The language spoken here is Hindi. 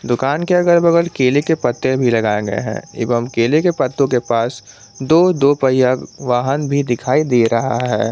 दुकान के अगल बगल केले के पत्ते भी लगाए गए हैं एवं केले के पत्तों के पास दो दो पहिया वाहन भी दिखाई दे रहा है।